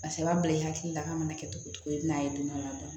Paseke i b'a bila i hakili la k'a mana kɛ cogo cogo i bɛ n'a ye don dɔ la